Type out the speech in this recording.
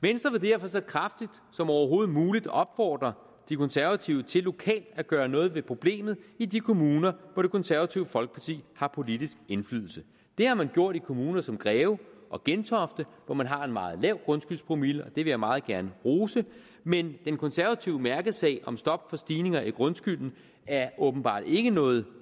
venstre vil derfor så kraftigt som overhovedet muligt opfordre de konservative til lokalt at gøre noget ved problemet i de kommuner hvor det konservative folkeparti har politisk indflydelse det har man gjort i kommuner som greve og gentofte hvor man har en meget lav grundskyldspromille og vil jeg meget gerne rose dem men den konservative mærkesag om stop for stigninger i grundskylden er åbenbart ikke nået